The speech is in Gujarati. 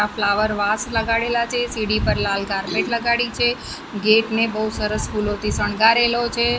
આ ફ્લાવર વાસ લગાડેલા છે સિડી પર લાલ કાર્પેટ લગાડી છે. ગેટ ને બહુ સરસ ફૂલોથી શણગારેલો છે.